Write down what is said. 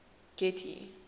getty